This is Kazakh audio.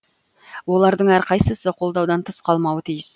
олардың әрқайсысы қолдаудан тыс қалмауы тиіс